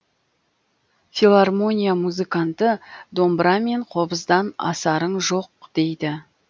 филармония музыканты домбыра мен қобыздан асарың жоқ дейді